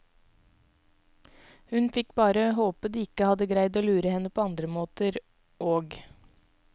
Hun fikk bare håpe de ikke hadde greid å lure henne på andre måter, òg.